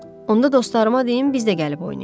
Onda dostlarıma deyim, biz də gəlib oynayaq.